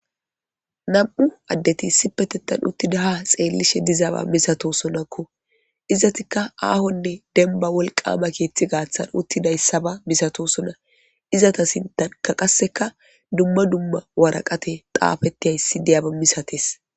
nam'u addeti isipetethan uttida ha xeellishe dizaaba misatosonakko izatikka aahonne denba wolqama keeththi gaaththan uttidayssaba misatosona izata sintanka qasseka dumma dumma waraqate xaafettihayssi diyaba misates